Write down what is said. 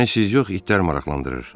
Məni siz yox, itlər maraqlandırır.